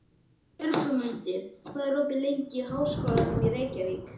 Björgmundur, hvað er opið lengi í Háskólanum í Reykjavík?